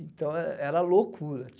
Então, era loucura.